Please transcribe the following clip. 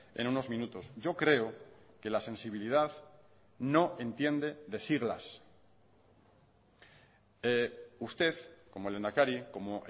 en unos minutos yo creo que la sensibilidad no entiende de siglas usted como lehendakari como